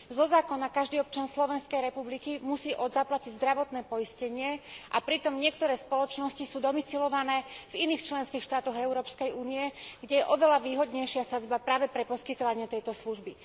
Zo zákona musí každý občan Slovenskej republiky zaplatiť zdravotné poistenie, a pritom niektoré spoločnosti sú domisilované v iných členských štátoch Európskej únie, kde je oveľa výhodnejšia sadzba práve pre poskytovanie tejto služby.